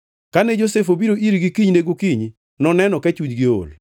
Kane Josef obiro irgi kinyne gokinyi, noneno ka chunygi ool.